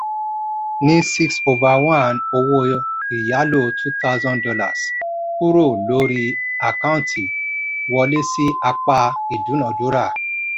ní six over one owó ìyálò two thousand kúrò lórí àkáǹtì wọlé sí apá ìdúnadúrà.